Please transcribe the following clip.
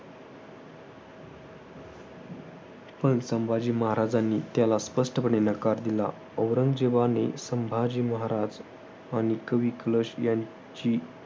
पण संभाजी महाराजांनी त्याला स्पष्टपणे नकार दिला. औरंगजेबाने संभाजी महाराज आणि कवी कलश यांची